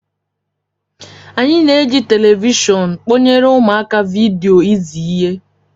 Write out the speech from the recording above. Anyị na-eji telivishọn kpọnyere ụmụaka vidio izi ihe